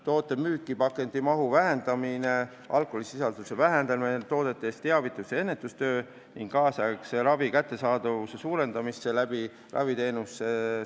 Toodete müügil võiks vähendada pakendite mahtu ja alkoholi sisaldust toodetes, teha rohkem teavitus- ja ennetustööd ning suurendada ravi kättesaadavust enama rahastamisega.